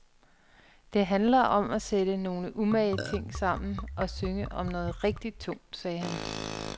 Det handler om at sætte nogle umage ting sammen og synge om noget rigtigt tungt, sagde han.